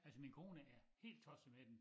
Altså min kone er helt tosset med den